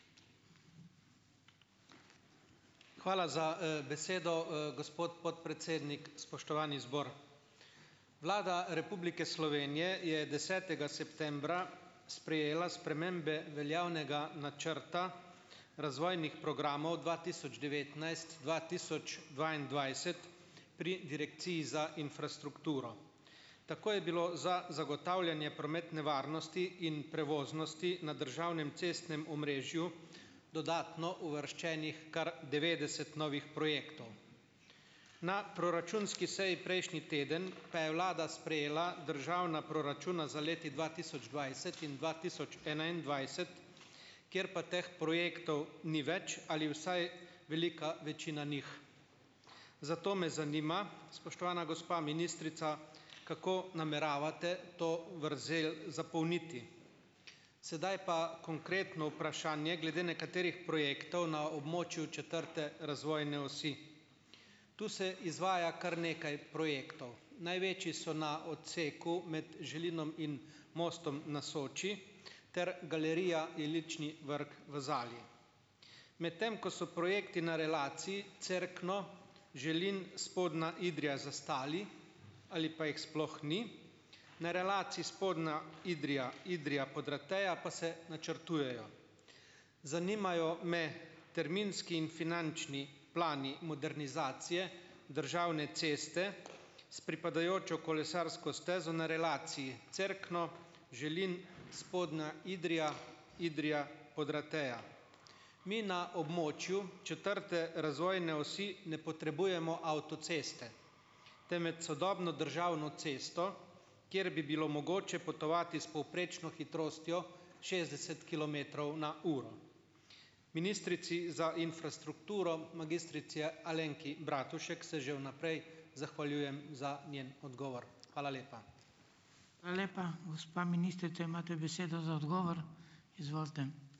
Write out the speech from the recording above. Hvala za, besedo, gospod podpredsednik, spoštovani zbor. Vlada Republike Slovenije je desetega septembra sprejela spremembe veljavnega načrta razvojnih programov dva tisoč devetnajst-dva tisoč dvaindvajset pri direkciji za infrastrukturo. Tako je bilo za zagotavljanje prometne varnosti in prevoznosti na državnem cestnem omrežju dodatno uvrščenih kar devetdeset novih projektov. Na proračunski seji prejšnji teden pa je vlada sprejela državna proračuna za leti dva tisoč dvajset in dva tisoč enaindvajset, kjer pa teh projektov ni več ali vsaj velika večina njih. Zato me zanima, spoštovana gospa ministrica, kako nameravate to vrzel zapolniti? Sedaj pa konkretno vprašanje glede nekaterih projektov na območju četrte razvojne osi. Tu se izvaja kar nekaj projektov. Največji so na odseku med Želinom in Mostom na Soči ter galerija Ilični vrk v Zali. Medtem ko so projekti na relaciji Cerkno- Želin- Spodnja Idrija zastali ali pa jih sploh ni, na relaciji Spodnja Idrija- Idrija-Podrateja pa se načrtujejo. Zanimajo me terminski in finančni plani modernizacije državne ceste s pripadajočo kolesarsko stezo na relaciji Cerkno- Želin- Spodnja Idrija- Idrija- Podrateja. Mi na območju četrte razvojne osi ne potrebujemo avtoceste, temveč sodobno državno cesto, kjer bi bilo mogoče potovati s povprečno hitrostjo šestdeset kilometrov na uro. Ministrici za infrastrukturo magistrici Alenki Bratušek se že vnaprej zahvaljujem za njen odgovor. Hvala lepa.